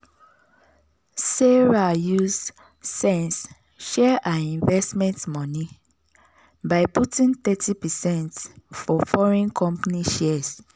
sarah use sense share her investment money by putting thirty percent for foreign company shares.